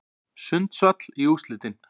Sundsvall í úrslitin